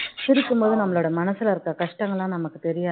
சிரிக்கும் போது நம்மளோட மனசுல இருக்க கஷ்டங்கள்லாம் நமக்கு தெரியாது